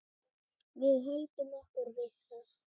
Við höldum okkur við það.